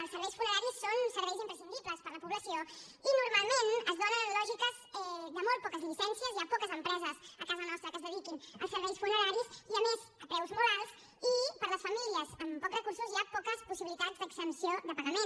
els serveis funeraris són serveis imprescindibles per a la població i normalment es donen lògiques de molt poques llicències hi ha poques empreses a casa nostra que es dediquin als serveis funeraris i a més a preus molt alts i per a les famílies amb pocs recursos hi ha poques possibilitats d’exempció de pagament